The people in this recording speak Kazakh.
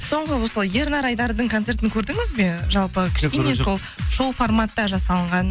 соңғы осы ернар айдардың концертін көрдіңіз бе жалпы кішкене сол шоу форматта жасалынған